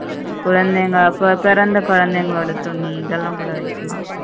குழந்தைங்க பிறந்த குழந்தைங்கலொட துணி இதல்லாம் கூட வெக்கலாம்